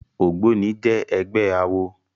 Ógbóni jè ègbè àwó